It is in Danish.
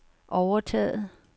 overtaget